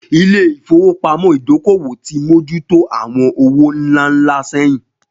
Ilé ìfowópamọ́ Ìdókòwò ti mójú tó àwọn owó ńlá ńlá sẹ́yìn